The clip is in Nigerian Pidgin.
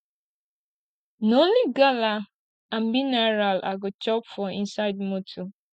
na only gala and mineral i go chop for inside motor